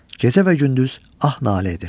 Gecə və gündüz ah nalə edir.